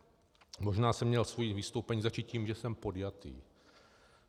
Možná jsem měl své vystoupení začít tím, že jsem podjatý.